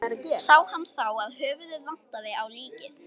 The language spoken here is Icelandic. Sá hann þá að höfuðið vantaði á líkið.